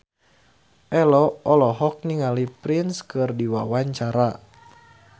Ello olohok ningali Prince keur diwawancara